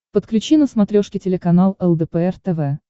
подключи на смотрешке телеканал лдпр тв